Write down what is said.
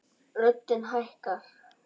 Röddin hækkar.